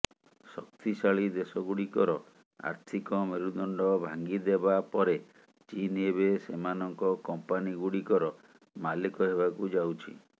ଶକ୍ତିଶାଳୀ ଦେଶଗୁଡ଼ିକର ଆର୍ଥିକ ମେରୁଦଣ୍ଡ ଭାଙ୍ଗିଦେବା ପରେ ଚୀନ ଏବେ ସେମାନଙ୍କ କମ୍ପାନୀଗୁଡ଼ିକର ମାଲିକ ହେବାକୁ ଯାଉଛି